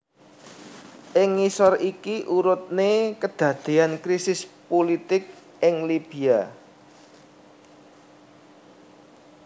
Ing ngisor iki urutne kedadean krisis pulitik ing Libya